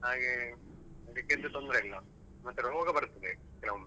ಹಾಗೆ ಅಡಿಕ್ಕೆದ್ದು ತೊಂದ್ರೆಯಿಲ್ಲ ಮತ್ತೆ ರೋಗ ಬರ್ತದೇ ಕೆಲವೊಮ್ಮೆ.